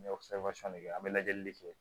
N bɛ de kɛ an bɛ lajɛli de kɛ